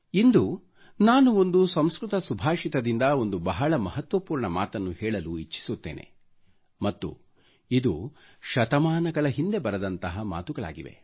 ಇಂದು ನಾನು ಒಂದು ಸಂಸ್ಕೃತ ಸುಭಾಷಿತದಿಂದ ಒಂದು ಬಹಳ ಮಹತ್ವಪೂರ್ಣ ಮಾತನ್ನು ಸ್ಪರ್ಷಿಸಲು ಇಚ್ಛಿಸುತ್ತೇನೆ ಮತ್ತು ಇದು ಶತಮಾನಗಳ ಹಿಂದೆ ಬರೆದಂತಹ ಮಾತುಗಳಾಗಿವೆ